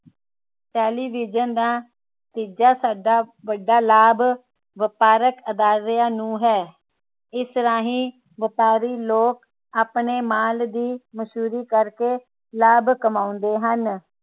television ਦਾ ਤੀਜਾ ਸਾਡਾ ਵੱਡਾ ਲਾਭ ਵਪਾਰਕ ਅਦਾਰਿਆਂ ਨੂੰ ਹੁੰਦਾ ਹੈ ਇਸ ਰਾਹੀਂ ਵਪਾਰੀ ਲੋਕ ਆਪਣੇ ਮਾਲ ਦੀ ਮਸ਼ਹੂਰੀ ਕਰਕੇ ਲਾਭ ਕਮਾਉਂਦੇ ਹਨ